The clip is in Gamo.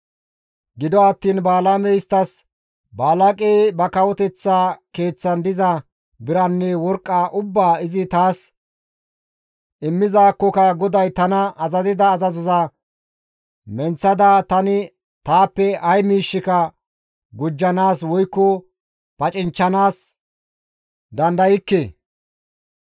Gido attiin Balaamey isttas, «Balaaqey ba kawoteththa keeththan diza biranne worqqa ubbaa izi taas immizaakkoka GODAY tana azazida azazoza menththada tani taappe ay miishshika gujjanaas woykko pacinchchanaas dandaykke.